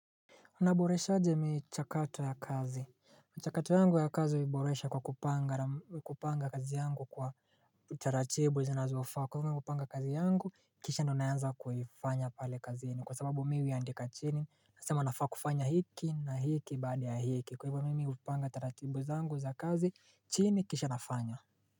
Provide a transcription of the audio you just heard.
Unaboresha aje mi chakato ya kazi, michakato yangu ya kazi uiboresha kwa kupanga kazi yangu kwa utaratibu zinazofaa kwa hivo mi hupanga kazi yangu kisha ndo naanza kuifanya pale kazini kwa sababu mi huiandika chini nasema nafaa kufanya hiki na hiki baada ya hiki kwahivyo mimi hupanga taratibu zangu za kazi chini kisha nafanya.